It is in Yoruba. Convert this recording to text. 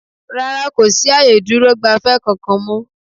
rá́rá, kò sí ààyè ìdúrò-gbafẹ́ kankan mọ́.